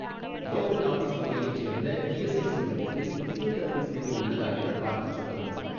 Local office வகையைச் சேர்ந்த ESIC மையத்தில் ஃபிசியோதெரபி சேவை உள்ளதா எனப் பார்த்துச் சொல்லவும்.